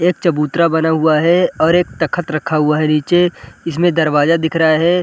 एक चबूतरा बना हुवा है और एक तख्त रखा हुवा है। नीचे इसमे दरवाजा दिख रहा है।